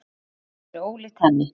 Annað hefði verið ólíkt henni.